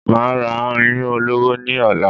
Máa ra iyùn ọlọ́wọ́ ní ọ̀la